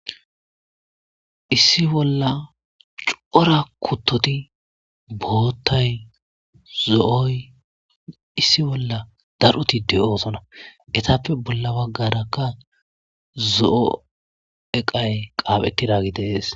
issi bolla cora kuttoti boottay zo'oy issi bolla daroti de'oosona etappe bolla waggarakka zo'o eqay qaaphettidagi de'ees